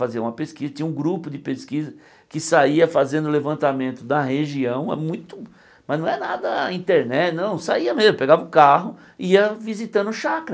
Fazia uma pesquisa, tinha um grupo de pesquisa que saía fazendo levantamento da região, é muito... mas não é nada internet, não, saía mesmo, pegava o carro, ia visitando Chacra.